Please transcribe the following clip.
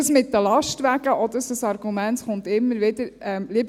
Das mit den Lastwagen, auch das ist ein Argument, das immer wieder kommt.